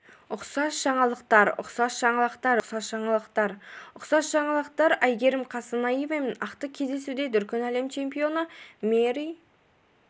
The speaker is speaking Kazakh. ұқсас жаңалықтар ұқсас жаңалықтар ұқсас жаңалықтар ұқсас жаңалықтар әйгерім қасенаева ақтық кездесуде дүркін әлем чемпионы мэри